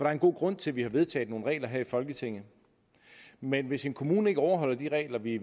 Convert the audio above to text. er en god grund til at vi har vedtaget nogle regler her i folketinget men hvis en kommune ikke overholder de regler vi